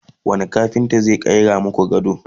wani kafinta zai ƙera maku gado?